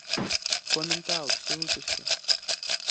коммент аут все выпуски